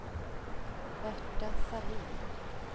Berta Sahlin